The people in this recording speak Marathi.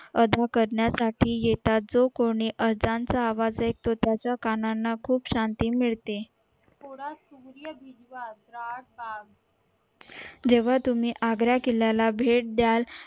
अदा करण्या साठी येतात जो कोणी अजाण आवाज ऐकतो त्याच्या कानाला खूप शांती मिळते जेव्हा तुम्ही आग्रा किल्ला ला भेट दायल